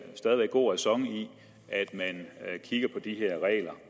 god ræson i at man kigger på de her regler